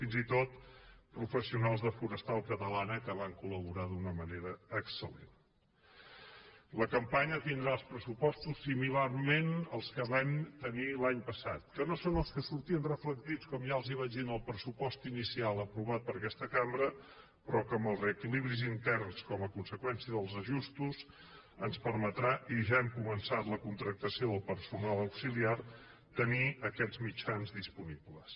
fins i tot professionals de forestal catalana que van col·laborar d’una manera excella campanya tindrà els pressupostos similarment als que vam tenir l’any passat que no són els que sortien reflectits com ja els vaig dir en el pressupost inicial aprovat per aquesta cambra però que amb els reequilibris interns com a conseqüència dels ajustos ens permetrà i ja hem començat la contractació del personal auxiliar tenir aquests mitjans disponibles